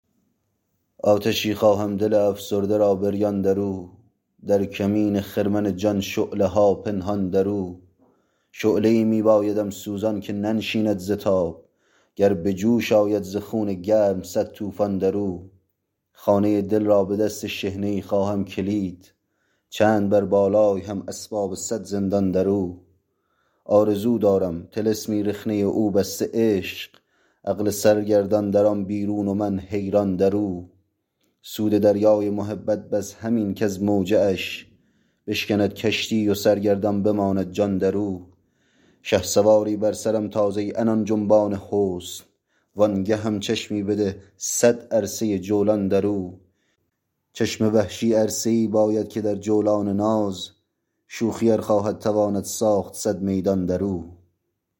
آتشی خواهم دل افسرده را بریان در او در کمین خرمن جان شعله ها پنهان در او شعله ای می بایدم سوزان که ننشیند ز تاب گر بجوش آید ز خون گرم سد توفان در او خانه دل را به دست شحنه ای خواهم کلید چند بر بالای هم اسباب سد زندان در او آرزو دارم طلسمی رخنه او بسته عشق عقل سرگردان در آن بیرون و من حیران در او سود دریای محبت بس همین کز موجه اش بشکند کشتی و سرگردان بماند جان در او شهسواری بر سرم تاز ای عنان جنبان حسن وانگهم چشمی بده سد عرصه جولان دراو چشم وحشی عرصه ای باید که در جولان ناز شوخی ار خواهد تواند ساخت سد میدان در او